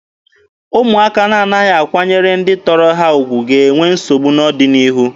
Ụmụaka na-anaghị akwanyere ndị tọrọ ha ugwu ga-enwe nsogbu n'ọdịnihu.